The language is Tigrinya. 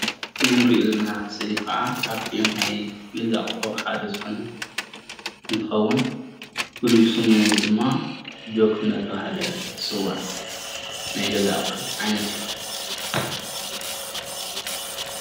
እዚ እንሪኦ ዘለና ስእሊ ከዓ ካብ እቲ ናይ ገዛ ኣቁሑ ሓደ ዝኮነ እንትከውን ፍሉይ ስሙ ድማ ጆክ እንዳተባሃለ ይፅዋዕ። ናይ ገዛ ኣቁሑት ዓይነት እዩ፡፡